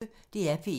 DR P1